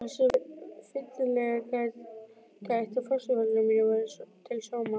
Þess var fyllilega gætt að fósturforeldrar mínir væru til sóma.